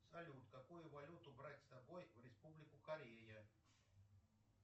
салют какую валюту брать с собой в республику корея